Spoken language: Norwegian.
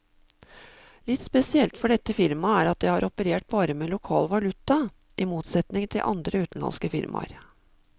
Litt spesielt for dette firmaet er at det har operert bare med lokal valuta, i motsetning til andre utenlandske firmaer.